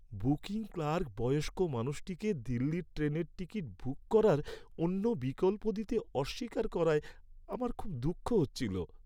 Booking clerk বয়স্ক মানুষটিকে দিল্লির ট্রেনের টিকিট বুক করার অন্য বিকল্প দিতে অস্বীকার করায় আমার খুব দুঃখ হচ্ছিল।